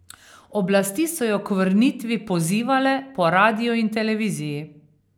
Oblasti so jo k vrnitvi pozivale po radiu in televiziji.